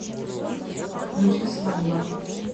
включи свадьба